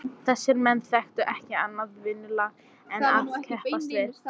Þessir menn þekktu ekki annað vinnulag en að keppast við.